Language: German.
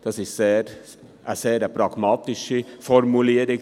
Das ist eine sehr pragmatische Formulierung.